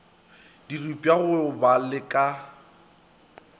diripwa go ba la go